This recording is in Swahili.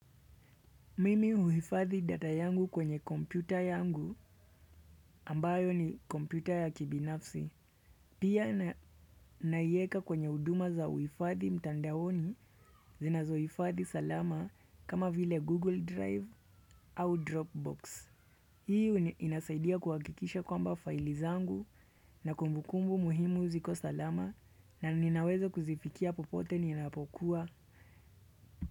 Mimi huhifadhi data yangu kwenye kompyuta yangu ambayo ni kompyuta ya kibinafsi. Pia naiweka kwenye huduma za uhifadhi mtandaoni zinazohifadhi salama kama vile Google Drive au Dropbox. Hii inasaidia kuhakikisha kwamba faili zangu na kumbukumbu muhimu ziko salama na ninaweza kuzifikia popote ninapokuwa.